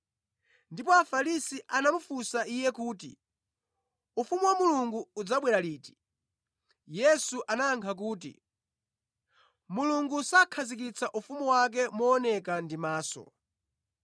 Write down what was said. Ndipo Afarisi atamufunsa Iye kuti, ufumu wa Mulungu udzabwera liti, Yesu anayankha kuti, “Mulungu sakhazikitsa ufumu wake mooneka ndi maso,